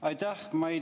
Aitäh!